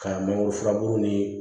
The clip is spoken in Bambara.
Ka mangoro furabulu nii